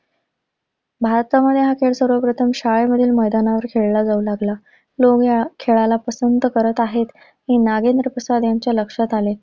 भारतामध्ये हा खेळ सर्वप्रथम शाळेमधील मैदानावर खेळला जाऊ लागला. लोक ह्या खेळाला पसंद करत आहेत, हे नागेंद्र प्रसाद ह्यांच्या लक्षात आले.